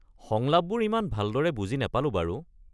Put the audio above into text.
সংলাপবোৰ ইমান ভালদৰে বুজি নাপালোঁ বাৰু।